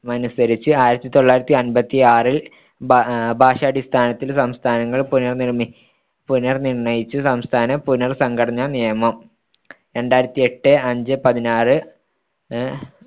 മനുസരിച്ച് ആയിരത്തിതൊള്ളായിരത്തി അമ്പത്തിയാറിൽ ഭ ഭാഷാടിസ്ഥാനത്തിൽ സംസ്ഥാനങ്ങൾ പുനർനിർ പുനർനിർ‌ണ്ണയിച്ച് സംസ്ഥാന പുനർ‌സംഘടനാ നിയമം രണ്ടായിരത്തിയെട്ടെ അഞ്ചേ പതിനാറ് അഹ്